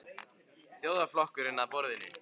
Þjóðarflokkurinn að borðinu?